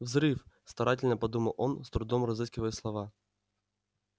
взрыв старательно подумал он с трудом разыскивая слова